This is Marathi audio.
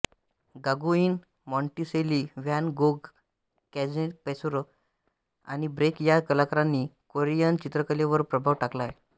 Gauguin Monticelli Van Gogh Cezanne Pissarro आणि ब्रेक या कलाकारांनी कोरियन चित्रकलेवर प्रभाव टाकला आहे